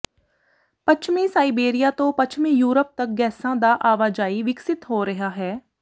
ਪੱਛਮੀ ਸਾਇਬੇਰੀਆ ਤੋਂ ਪੱਛਮੀ ਯੂਰਪ ਤੱਕ ਗੈਸਾਂ ਦਾ ਆਵਾਜਾਈ ਵਿਕਸਤ ਹੋ ਰਿਹਾ ਹੈ